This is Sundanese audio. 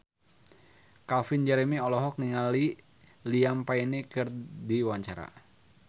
Calvin Jeremy olohok ningali Liam Payne keur diwawancara